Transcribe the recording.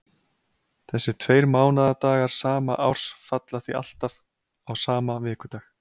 Þessir tveir mánaðardagar sama árs falla því alltaf á sama vikudag.